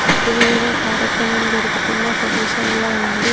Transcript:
ఇది ఏదో కార్యక్రమం జరుగుతున్న ప్రదేశంలా ఉంది.